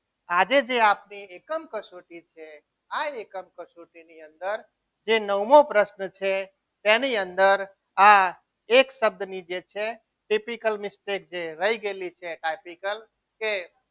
આજે જે આપણી એકમ કસોટી છે આ એકમ કસોટી ની અંદર જે નવમો પ્રશ્ન છે તેની અંદર આ એક શબ્દની જે છે typical mistake જે રહી ગયેલી છે typical કે